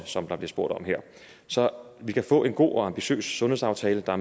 som der bliver spurgt om her så vi kan få en god og ambitiøs sundhedsaftale der